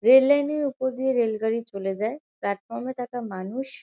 Rail line -এর উপর দিয়ে রেল গাড়ি চলে যায়। প্লাটফর্ম -এ থাকা মানুষ --